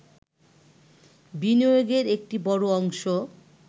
বিনিয়োগের একটি বড় অংশ